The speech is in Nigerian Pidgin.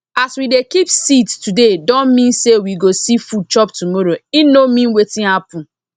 as we dey keep seeds today don mean say we go see food chop tomorrow e no mean wetin happen